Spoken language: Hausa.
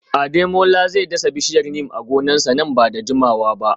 Ademola zai dasa bishiyar Neem a gonarsa nan ba da jimawa ba